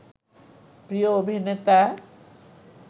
প্রিয় অভিনেতা